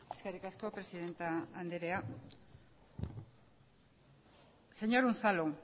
eskerrik asko presidente andrea señor unzalu